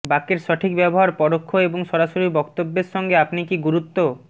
বাক্যের সঠিক ব্যবহার পরোক্ষ এবং সরাসরি বক্তব্যের সঙ্গে আপনি কি গুরুত্ব